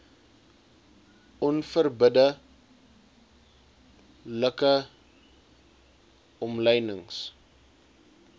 onverbidde like omlynings